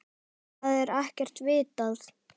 Það er ekkert vitað.